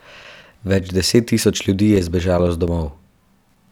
Več deset tisoč ljudi je zbežalo z domov.